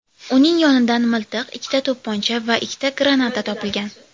Uning yonidan miltiq, ikkita to‘pponcha va ikkita granata topilgan.